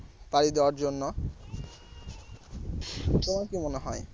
পাড়ি দেওয়ার জন্য তোমার কি মনে হয়?